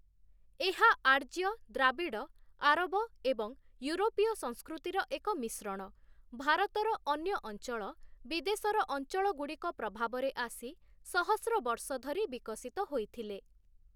ଏହା ଆର୍ଯ୍ୟ, ଦ୍ରାବିଡ଼, ଆରବ ଏବଂ ୟୁରୋପୀୟ ସଂସ୍କୃତିର ଏକ ମିଶ୍ରଣ, ଭାରତର ଅନ୍ୟ ଅଞ୍ଚଳ, ବିଦେଶର ଅଞ୍ଚଳଗୁଡ଼ିକ ପ୍ରଭାବରେ ଆସି ସହସ୍ର ବର୍ଷ ଧରି ବିକଶିତ ହୋଇଥିଲେ ।